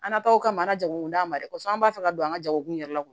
An nataw kama an ka jago d'an ma dɛ kosɛbɛ an b'a fɛ ka don an ka jago kun yɛrɛ la